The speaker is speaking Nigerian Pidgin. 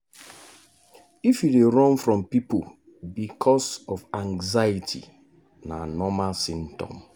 if you dey run from people because of anxiety na normal symptom.